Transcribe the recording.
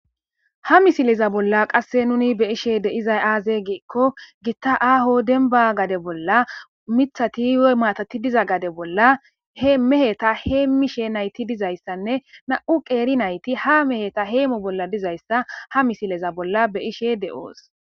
Ha misileza bolla qasse nuni be7ishe de7izay aaze giikko gitta aho dembba gade bolla mithati woy maatati diza gade bolla he meheta heemmishe nayti dizayssanne na7u qeeri nayti ha meheta heemo bolla dizayssa ha misileza bolla be7ishe de7oos.